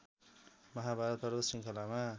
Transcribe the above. महाभारत पर्वत श्रृङ्खलामा